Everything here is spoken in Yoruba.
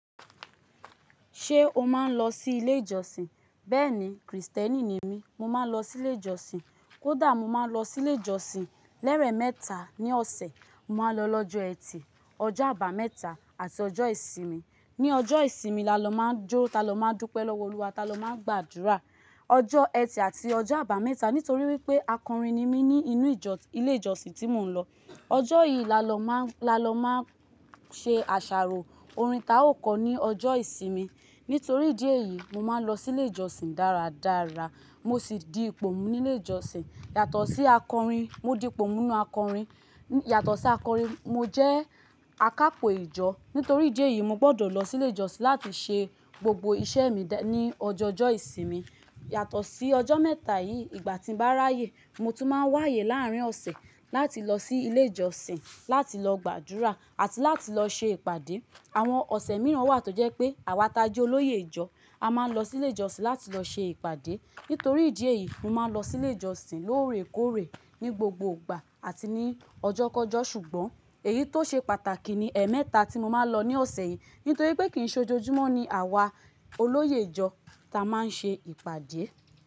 Ṣé o máa ń lọ sí ilé ìjọsìn? Bẹ́ẹ̀ni, Krìstẹ́nì ni mí, mo máa ń lọ sí ilé ìjọsìn. Kódà mo máa ń lọ sí ilé ìjọsìn lẹ́rẹ̀ mẹ́ta ní ọ̀sẹ̀. Mo máa ń lọ lọ́jọ́ ẹtì, ọjọ́ àbámẹ́ta àti ọjọ́ ìsinmi. Ní ọjọ́ ìsinmi la lọ máa ń jó, ta lọ máa ń dúpẹ́ lọ́wọ́ Olúwa, ta lọ máa ń gbàdúrà. Ọjọ́ ẹtì àti ọjọ́ àbámẹ́ta, nítorí wípé akọrin ni mí ní inú ìjọ ilé ìjọsìn tí mò ń lọ. Ọjọ́ yìí la lọ máa ń, la lọ máa ń ṣe àṣàrò orin ta ó kọ ní ọjọ́ ìsinmi. Nítorí ìdí èyí, mo máa ń lọ sí ilé ìjọsìn dáradára. Mo sì di ipò mu ní ilé ìjọsìn. Yàtọ̀ sí akọrin, mo di ipò mu nínú akọrin. Yàtọ̀ sí akọrin, mo jẹ́ akapo ìjọ. Nítorí ìdí èyí, mo gbọ́dọ̀ lọ sí ilé ìjọsìn láti ṣe gbogbo iṣẹ́ mi ní ọjọọjọ́ ìsinmi. Yàtọ̀ sí ọjọ́ mẹ́ta yìí, ìgbà tí ń bá ráyè, mo tún máa ń wáyé láàárín ọ̀sẹ̀ láti lọ sí ilé ìjọsìn láti lọ gbàdúrà àti láti lọ ṣe ìpàdé. Àwọn ọ̀sẹ̀ mìíràn wà tó jẹ́ pé àwa ta jẹ́ olóyè ìjọ a máa ń lọ sí ilé ìjọsìn láti lọ ṣe ìpàdé. Nítorí ìdí èyí, mo máa ń lọ sí ilé ìjọsìn lóòrèkóòrè ní gbogbo ìgbà àti ní ọjọ́kọjọ́. Ṣùgbọ́n èyí tó ṣe pàtàkì ni ẹemẹ́ta tí mo máa ń lọ ní ọ̀sẹ̀ yìí. Nítorí pé kì í ṣe ojoojúmọ́ ni àwa olóyè ìjọ ta máa ń ṣe ìpàdé.